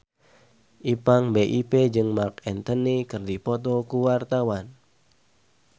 Ipank BIP jeung Marc Anthony keur dipoto ku wartawan